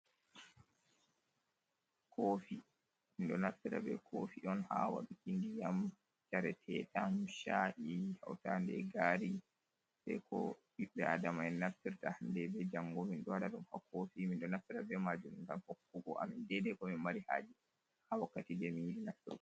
Kofi, min ɗo naffira be kofi on ha waɗuki ndiyam yareteɗam, sha’i ,hautade e gari be ko biɓbe adama'en naftirta hande be jango, min ɗo ɗa dum ha kofi minɗo naftira be majuum ngam hokkugo amin dede ko mi mari haje ha wakkati demin yiɗi nafturgo.